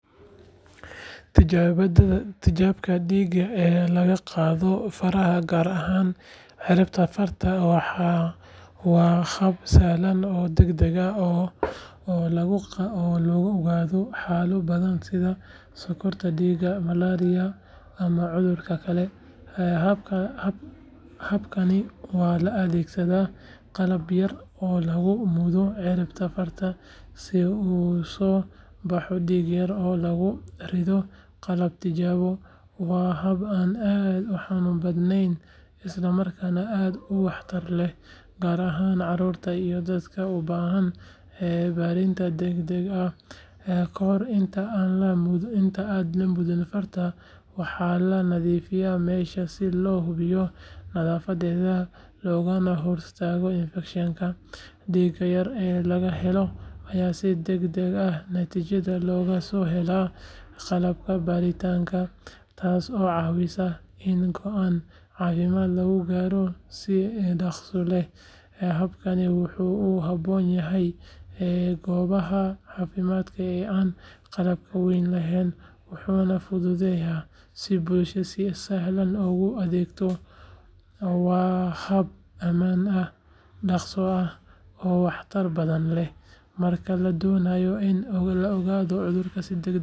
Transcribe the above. Tijaabada dhiigga ee laga qaado faraha gaar ahaan ciribta farta waa hab sahlan oo degdeg ah oo lagu ogaado xaalado badan sida sonkorta dhiigga, malaria, ama cudurro kale. Habkan waxaa la adeegsadaa qalab yar oo lagu mudayo ciribta farta si uu u soo baxo dhiig yar oo lagu riddo qalab tijaabo. Waa hab aan aad u xanuun badanayn isla markaana aad u waxtar leh gaar ahaan carruurta iyo dadka u baahan baaritaan degdeg ah. Kahor inta aan la mudo farta waxaa la nadiifiyaa meesha si loo hubiyo nadaafadda loogana hortago infekshan. Dhiigga yar ee laga helo ayaa si degdeg ah natiijadiisa loogu helaa qalabka baaritaanka, taasoo caawisa in go’aan caafimaad lagu gaaro si dhakhso leh. Habkani wuxuu ku habboon yahay goobaha caafimaad ee aan qalabka weyn lahayn, wuxuuna fududeeyaa in bulshada si sahlan loogu adeego. Waa hab ammaan ah, dhaqso ah, oo wax tar badan leh marka la doonayo in la ogaado cudurro si degdeg ah.